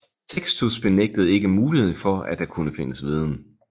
Sextus benægtede ikke muligheden for at der kunne findes viden